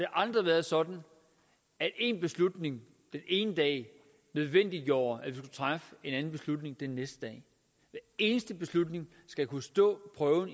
aldrig været sådan at en beslutning den ene dag nødvendiggjorde at man træffe en anden beslutning den næste dag hver eneste beslutning skal kunne stå for en